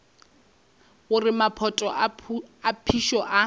gore maphoto a phišo a